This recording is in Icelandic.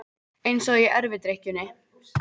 Eins og í erfidrykkjunni.